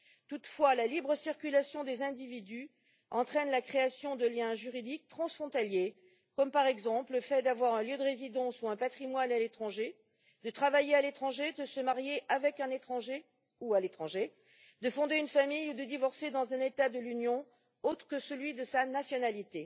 Toutefois, la libre circulation des personnes entraîne la création de liens juridiques transfrontaliers comme, par exemple, le fait d'avoir un lieu de résidence ou un patrimoine à l'étranger, de travailler à l'étranger, de se marier avec un étranger ou à l'étranger, de fonder une famille ou de divorcer dans un État de l'Union autre que celui de sa nationalité